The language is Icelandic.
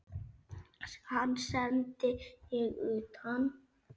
Hann sendi ég utan.